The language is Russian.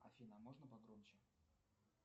афина а можно погромче